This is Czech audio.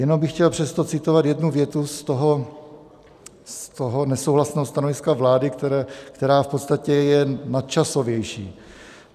Jenom bych chtěl přesto citovat jednu větu z toho nesouhlasného stanoviska vlády, která v podstatě je nadčasovější.